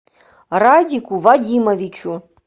радику вадимовичу